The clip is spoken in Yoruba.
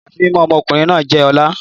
Ìyàsímímọ́ ọmọ ọkùnrin náà jẹ́ ọ̀la